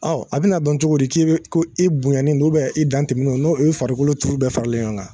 Ɔ a bɛna na dɔn cogo di k'i bɛ ko i bonyanen don i dan tɛmɛn don n'o ye farikolo turu bɛ faralen ɲɔgɔn kan .